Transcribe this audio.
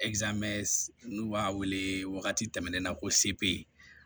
n'u b'a wele wagati tɛmɛnen na ko se